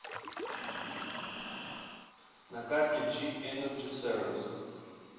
на карте джи энерджи сервис